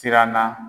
Siranna